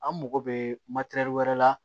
An mago bɛ wɛrɛ la